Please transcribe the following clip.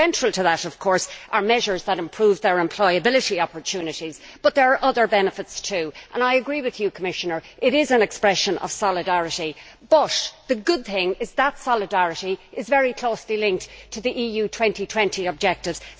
Central to that, of course, are measures that improve their employability opportunities but there are other benefits, too, and I agree with you, Commissioner, it is an expression of solidarity, but the good thing is that that solidarity is very closely linked to the EU 2020 objectives.